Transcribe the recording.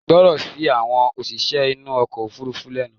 gbọ́ràn sí àwọn òṣìṣẹ́ inú ọkọ̀ òfurufú lẹnu!